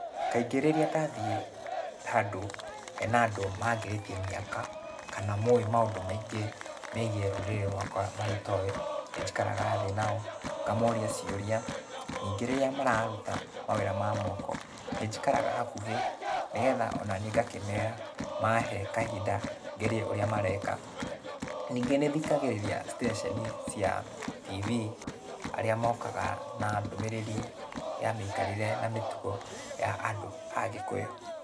Kaingĩ rĩrĩa ndathiĩ, handũ, hena andũ mangĩrĩtie mĩaka, kana moĩ maũndũ maingĩ megiĩ rũrĩrĩ rũakwa marĩa itoĩ, nĩnjikaraga thĩ nao, ngamoria ciũria. Ningĩ rĩrĩa mararuta mawĩra ma moko, nĩnjikaraga hakuhĩ, nĩgetha onaniĩ ngakĩmera, mahe kahinda ngerie ũrĩa mareka. Ningĩ nĩthikagĩrĩria ceceni cia TV, arĩa mokaga na ndũmĩrĩri ya mĩikarĩre na mĩtugo ya andũ a Gikũyũ.